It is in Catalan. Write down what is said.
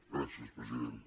gràcies president